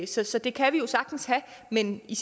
så så det kan vi jo sagtens have men i